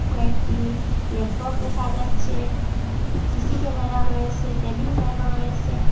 কয়েকটি ল্যাপটপ দেখা যাচ্ছে সি_সি ক্যামেরাও রয়েসে টেবিলফ্যানও রয়েসে।